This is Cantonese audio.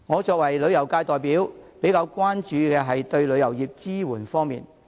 作為旅遊界代表，我比較關注政府對旅遊業提供的支援。